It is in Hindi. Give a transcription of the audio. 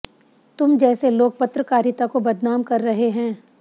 तुम जैसे लोग पत्रकारिता को बदनाम कर रहे हैं